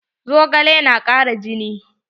Zogale na ƙara jini.